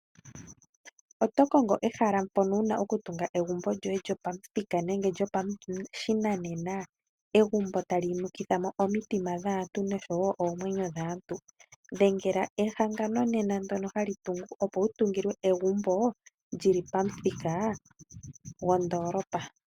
Otokongo ehala mpono wuna okutunga egumbo lyoye lyopamuthika nenge lyopashinanena, egumbo tali nukithamo omitima dhaantu noshowo oomwenyo dhaantu? Dhengela ehangano nena ndono hali tungu opo wu tungilwe egumbo lili pamuthika gwondoolopa.